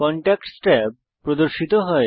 contacts tab প্রদর্শিত হয়